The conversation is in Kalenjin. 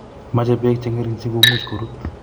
Mache beek che ngering si komuch korut